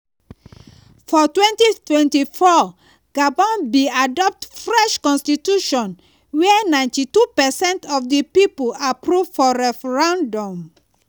for 2024 gabon bin adopt fresh constitution wey 92 percent of di pipo approve for referendum.